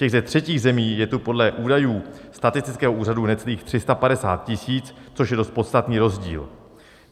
Těch ze třetích zemí je tu podle údajů statistického úřadu necelých 350 000, což je dost podstatný rozdíl.